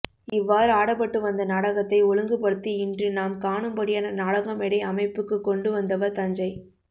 இவ்வாறு ஆடப்பட்டு வந்த நாடகத்தை ஒழுங்கு படுத்தி இன்று நாம் காணும்படியான நாடக மேடை அமைப்புக்குக் கொண்டு வந்தவர் தஞ்சை